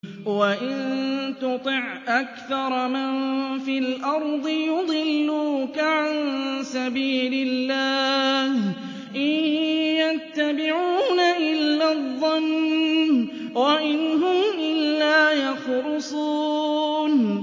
وَإِن تُطِعْ أَكْثَرَ مَن فِي الْأَرْضِ يُضِلُّوكَ عَن سَبِيلِ اللَّهِ ۚ إِن يَتَّبِعُونَ إِلَّا الظَّنَّ وَإِنْ هُمْ إِلَّا يَخْرُصُونَ